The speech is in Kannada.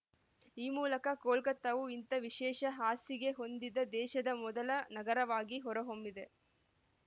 ಈ ಮೂಲಕ ಕೋಲ್ಕತ್ತಾವು ಇಂಥ ವಿಶೇಷ ಹಾಸಿಗೆ ಹೊಂದಿದ ದೇಶದ ಮೊದಲ ನಗರವಾಗಿ ಹೊರ ಹೊಮ್ಮಿದೆ